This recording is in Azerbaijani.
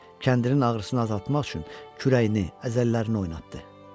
Kəndirin ağrısını azaltmaq üçün kürəyini, əzələlərini oynatdı.